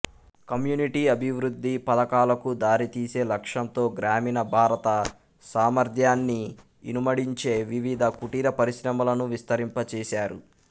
community అభివృద్ది పధకాలకు దారి తీసే లక్ష్యంతో గ్రామీణ భారత సామర్ద్యాన్ని ఇనుమడించే వివిధ కుటీర పరిశ్రమలను విస్తరింపచేసారు